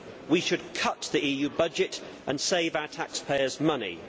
we should cut the EU budget and save our taxpayers' money.